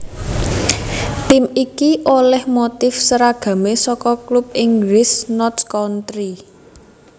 Tim iki olèh motif seragamé saka klub Inggris Notts County